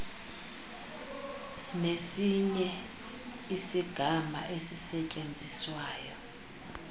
nesinye isigama esisetyenziswayo